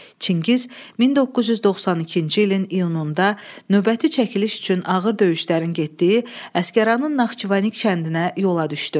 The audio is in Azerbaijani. Çingiz 1992-ci ilin iyununda növbəti çəkiliş üçün ağır döyüşlərin getdiyi Əsgəranın Naxçıvanik kəndinə yola düşdü.